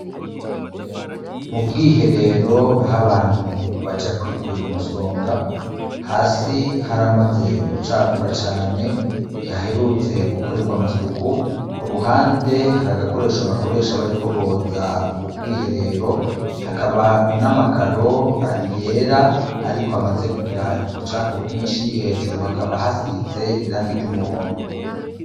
Mu bwiherero aho abantu baja kwikuira umusonga hasi haramaze gucafura cane ntihaherutse gukorerwa amasuku ku ruhande hari agakoresho bakoresha bariko boza bubwiherero hakaba n'amakaro yera, ariko, maze kugira ibucafu bwinshi hejuru hakaba hasize iranga iryo umuhondo.